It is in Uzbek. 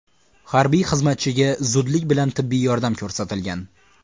Harbiy xizmatchiga zudlik bilan tibbiy yordam ko‘rsatilgan.